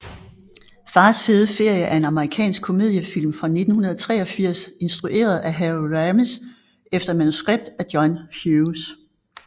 Fars fede ferie er en amerikansk komediefilm fra 1983 instrueret af Harold Ramis efter manuskript af John Hughes